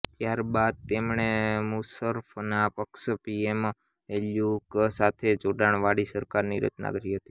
ત્યાર બાદ તેમણે મુશર્રફના પક્ષ પીએમએલક્યૂ સાથે જોડાણ વાળી સરકારની રચના કરી હતી